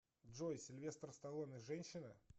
джой сильвестр сталлоне женщина